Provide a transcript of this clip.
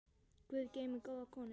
Guð geymi góða konu.